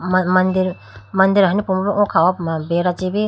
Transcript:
man mandir ahinu puma bi oh kha ho puma beda chibi.